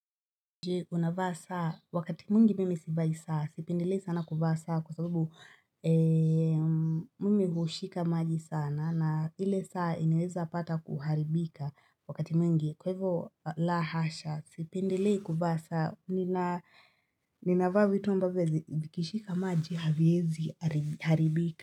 Je? Unavaa saa? Wakati mwingi mimi sivai saa sipendelei sana kuvaa saa kwa sababu mimi hushika maji sana na ile saa inaeza pata kuharibika wakati mwingi kwaivo la hasha sipendelei kuvaa saa ninavaa vitu ambavi zi vikishika maji haviezi haribika.